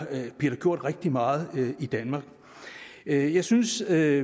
gjort rigtig meget i danmark jeg synes at